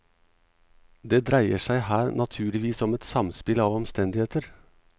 Det dreier seg her naturligvis om et samspill av omstendigheter.